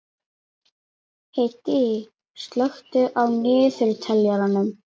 Hedí, slökktu á niðurteljaranum.